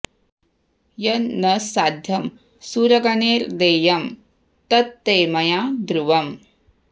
यन् न साध्यं सुरगणैर्देयं तत् ते मया ध्रुवम्